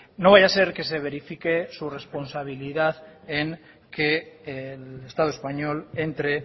no vaya a ser que se verifique su responsabilidad en que el estado español entre